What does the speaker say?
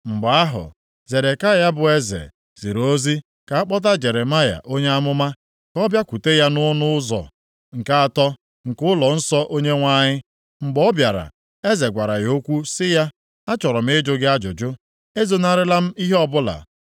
Mgbe ahụ, Zedekaya bụ eze, ziri ozi ka a kpọta Jeremaya onye amụma, ka ọ bịakwute ya nʼọnụ ụzọ nke atọ, nke ụlọnsọ Onyenwe anyị. Mgbe ọ bịara, eze gwara ya okwu sị ya, “Achọrọ m ịjụ gị ajụjụ. Ezonarịla m ihe ọbụla.”